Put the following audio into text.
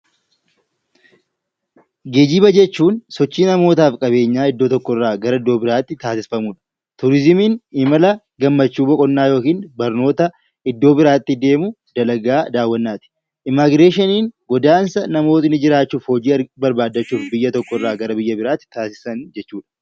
Geejjiba jechuun sichii namootaaf qabeenyaa iddoo tokko irraa gara iddoo biraa tti taasifamu dha. Turiizumiin imala gammachuu, boqonnaa yookiin barnoota iddoo biraa tti deemuu, dalagaa daawwannaa ti. Immagireeshiniin godaansa namoonni jiraachuuf, hojii barbaaddachuuf biyya tokko irraa gara biyya biraa tti taasisan jechuu dha.